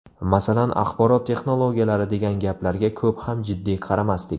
Masalan, axborot texnologiyalari degan gaplarga ko‘p ham jiddiy qaramasdik.